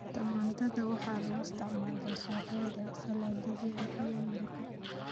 Tamaandhada waxaa loo isticmaalaa suugada, saladhyada, iyo maraqa.